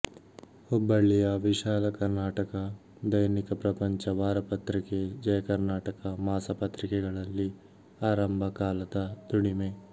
ಹುಬ್ಬಳ್ಳಿಯ ವಿಶಾಲಕರ್ನಾಟಕ ದೈನಿಕ ಪ್ರಪಂಚ ವಾರಪತ್ರಿಕೆ ಜಯಕರ್ನಾಟಕ ಮಾಸ ಪತ್ರಿಕೆಗಳಲ್ಲಿ ಆರಂಭ ಕಾಲದ ದುಡಿಮೆ